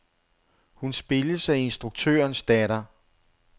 Hun spilles af instruktørens datter.